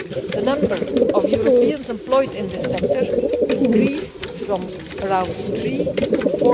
The number of Europeans employed in this sector increased from around 3 million